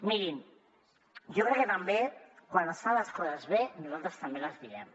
mirin jo crec que quan es fan les coses bé nosaltres també les diem